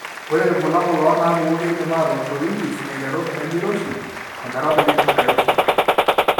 Ore irbulabul onaapuku keidim aatoosh oringis aiteru enemeiroshi ometabaiki enairoshi.